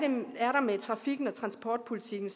ved trafikken og transportpolitikken